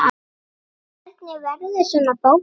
Hvernig verður svona bók til?